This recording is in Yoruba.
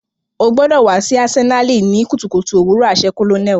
O gbọdọ wa si Asenali ni kutukutu owurọ aṣẹ colonel.